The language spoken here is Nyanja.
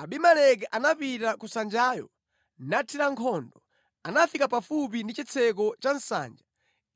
Abimeleki anapita ku nsanjayo nathira nkhondo. Anafika pafupi ndi chitseko cha nsanja